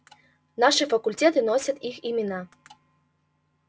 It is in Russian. наши факультеты носят их имена